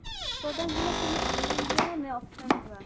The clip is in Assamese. product বিলাক তুমি online লোৱা নে offline লোৱা?